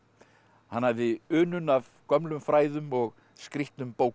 hann hafði unun af gömlum fræðum og skrýtnum bókum